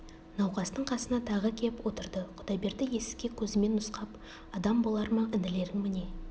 науқастың қасына тағы кеп отырды құдайберді есікке көзімен нұсқап адам болар ма інілерің міне